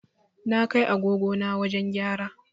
Na kai agogo na wajen gyara